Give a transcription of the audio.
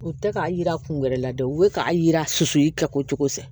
U tɛ k'a jira kun wɛrɛ la dɛ u bɛ k'a yira su ka ko cogo fɛ